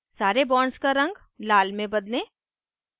सारे bonds का रंग लाल में बदलें